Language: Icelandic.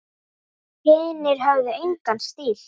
Hinir höfðu engan stíl.